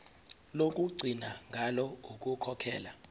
lokugcina ngalo ukukhokhela